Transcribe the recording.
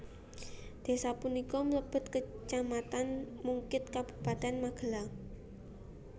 Desa punika mlebet Kecamatan Mungkid Kabupaten Magelang